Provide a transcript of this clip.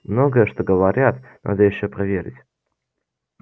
многое что говорят надо ещё проверить